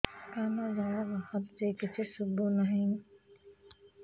କାନରୁ ଜଳ ବାହାରୁଛି କିଛି ଶୁଭୁ ନାହିଁ